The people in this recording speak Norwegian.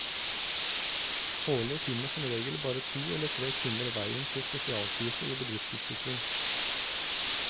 Årlig finner som regel bare to eller tre kvinner veien til spesialkurset i bedriftsutvikling.